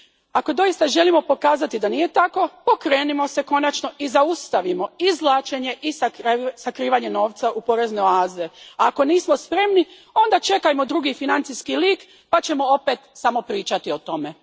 Ako doista želimo pokazati da nije tako, pokrenimo se konačno i zaustavimo izvlačenje i sakrivanje novca u porezne oaze, a ako nismo spremni onda čekajmo drugi financijski leak pa ćemo opet samo pričati o tome.